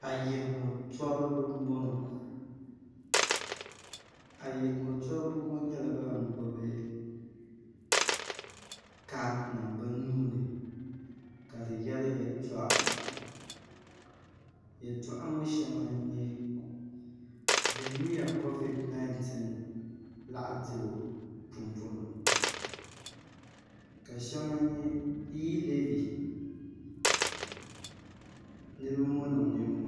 ayirimo toriba m-bɔŋɔ ayirimo toriba ŋɔ nyɛla ban gbubi kaadinima bɛ nuu ni ka di yɛri yɛltɔɣa yɛltɔɣa ŋɔ shɛŋa n-nyɛ vihimiya kovidi 19 laɣidibo pumpɔŋɔ ka shɛŋa iilɛvi niriba ŋɔ niŋ nimmɔhiEdit